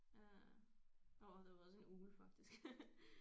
Øh der var der var også en ugle faktisk